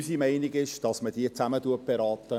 Unsere Meinung ist, dass man diese zusammen berät.